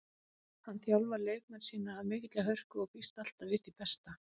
Hann þjálfar leikmenn sína af mikilli hörku og býst alltaf við því besta.